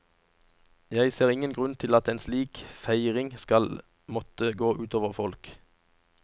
Jeg ser ingen grunn til at en slik feiring skal måtte gå utover folk.